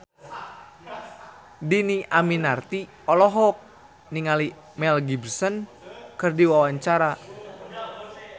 Dhini Aminarti olohok ningali Mel Gibson keur diwawancara